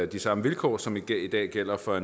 de samme vilkår som i dag gælder for